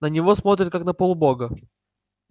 на него смотрят как на полубога